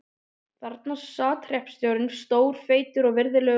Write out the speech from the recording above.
Þarna sat hreppstjórinn, stór, feitur og virðulegur maður.